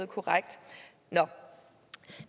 korrekt nå